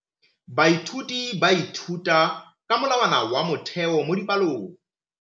Baithuti ba ithuta ka molawana wa motheo mo dipalong.